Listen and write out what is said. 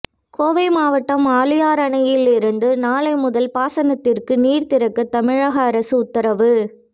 கோவை மாவட்டம் ஆழியார் அணையில் இருந்து நாளை முதல் பாசனத்திற்கு நீர் திறக்க தமிழக அரசு உத்தரவு